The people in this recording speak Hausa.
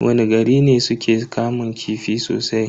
Wani gari ne suke kamun kifi sosai?